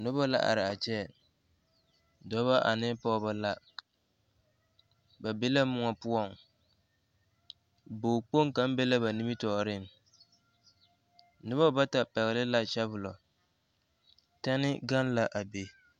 Noba la are a kyɛ dɔba ane pɔgeba la ba be la moɔ poɔŋ bogkpoŋ kaŋ be la ba nimitɔɔreŋ noba bata pɛgle la sabolɔ tɛne gaŋ l,a be.